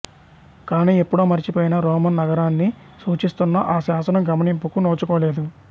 కాని ఎప్పుడో మరచిపోయిన రోమన్ నగరాన్ని సూచిస్తున్న ఆ శాసనం గమనింపుకు నోచుకోలేదు